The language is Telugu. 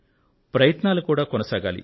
ప్రయత్నాలు కూడా కొనసాగాలి